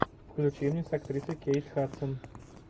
включи мне с актрисой кейт хадсон